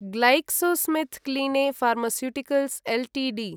GlaxoSmith क्लिने pharmaceuticals Ltd